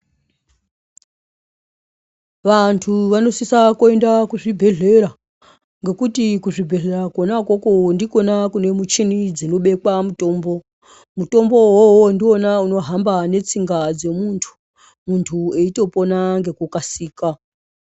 Vantu vanosisa kuenda kuzvibhedhlera ngekuti kuzvibhehlera kona ikoko ndikona kune michini dzinobekwa mutombo. Mutombo uwowo ndiwona unohamba netsinga dzemuntu. Munhu eitopona ngekukasira.